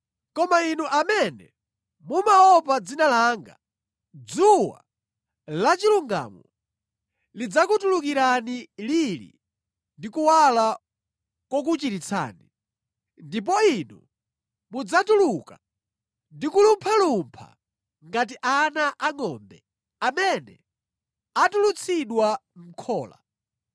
Koma inu amene mumaopa dzina langa, dzuwa lachilungamo lidzakutulukirani lili ndi kuwala kokuchiritsani. Ndipo inu mudzatuluka ndi kulumphalumpha ngati ana angʼombe amene atulutsidwa mʼkhola.